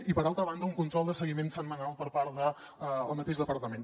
i per altra banda un control de seguiment setmanal per part del mateix departament